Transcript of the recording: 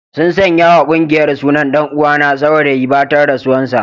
Sun sanya wa kungiyar sunan dan uwana Saurayi batan rasuwan sa.